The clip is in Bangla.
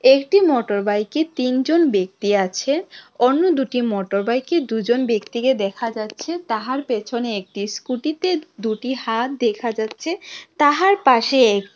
একটি মোটরবাইকে তিনজন ব্যক্তি আছে অন্য দুটি মোটরবাইকে দুজন ব্যক্তিকে দেখা যাচ্ছে তাহার পেছনে একটি স্কুটিতে দুটি হাত দেখা যাচ্ছে তাহার পাশে এক--